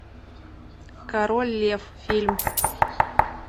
король лев фильм